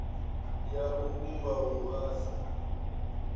ya u vhumba wua sa